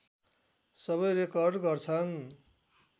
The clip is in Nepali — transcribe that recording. सबै रेकर्ड गर्छन्